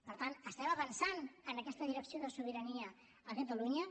per tant estem avançant en aquesta direcció de sobirania a catalunya